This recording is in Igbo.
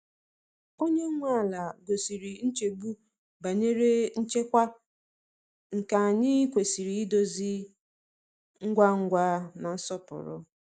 Onye nwe ala gosiri nchegbu banyere nchekwa, nke anyị kwesịrị idozi ngwa ngwa na nsọpụrụ.